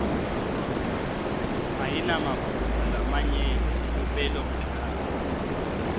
ayinamaphutsa lamanyenti elupelomagama